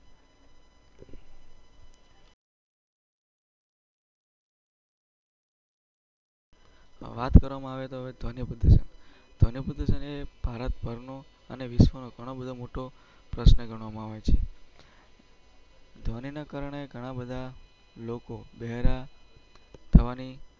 વાત કરવામાં આવે તો ધોનીએ. ભારત અને વિશ્વના ઘણા બધા મોટો પ્રશ્ન ગણવામાં આવે છે. ધોનીના કારણે ઘણા બધા લોકો બહરા.